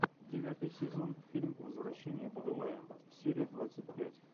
девятый сезон фильм возвращение будулая серия двадцать пять